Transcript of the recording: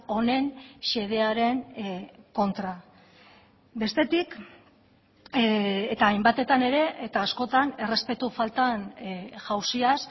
honen xedearen kontra bestetik eta hainbatetan ere eta askotan errespetu faltan jauziaz